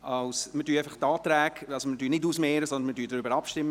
Das heisst, wir mehren sie nicht aus, sondern stimmen darüber ab, Entschuldigung.